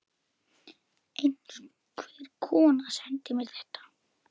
Einhver kona sendi mér þetta.